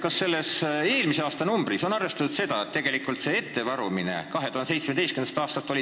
Kas eelmise aasta näitajast on tegelikult see ettevarumine väljas?